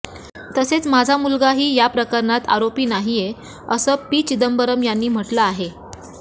तसेच माझा मुलागाही या प्रकरणात आरोपी नाहीये असं पी चिंदबरम यांनी म्हटलं आहे